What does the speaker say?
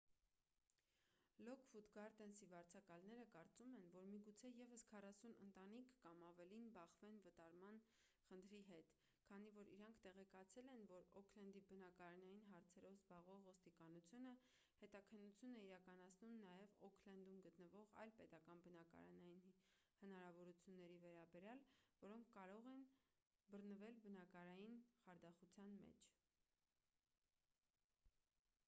լոքվուդ գարդենսի վարձակալները կարծում են որ միգուցե ևս 40 ընտանիք կամ ավելին բախվեն վտարման խնդրի հետ քանի որ իրենք տեղեկացել են որ օքլենդի բնակարանային հարցերով զբաղվող ոստիկանությունը հետաքննություն է իրականացնում նաև օքլենդում գտնվող այլ պետական բնակարանային հնարավորությունների վերաբերյալ որոնք կարող են բռնվել բնակարանային խարդախության մեջ